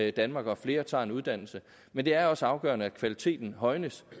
i danmark og at flere tager en uddannelse men det er også afgørende at kvaliteten højnes